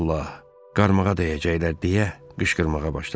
Aman Allah, qaramağa dəyəcəklər deyə qışqırmağa başladı.